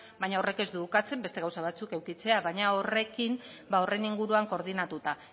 baina horrek ez du ukatzen beste gauza batzuk edukitzea baina horrekin horren inguruan koordinatuta